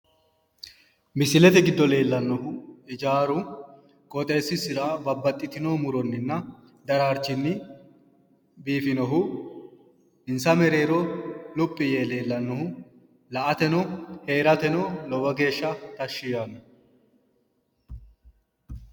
Misilete giddo leeellanohu hijaaru qoxeesisira babbaxxitino muroninna daraarchinni insa mereero luphi yee leellanohu la"ateno heerate lowo geeshsha tashshi yaanno.